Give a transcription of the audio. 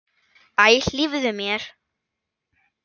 Æ, hlífðu mér!